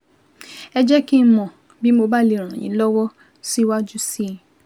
Ẹ jẹ́ kí n mọ̀ bí mo bá lè ràn yín lọ́wọ́ síwájú sí i